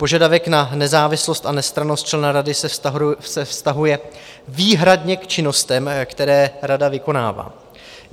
Požadavek na nezávislost a nestrannost člena rady se vztahuje výhradně k činnostem, které rada vykonává.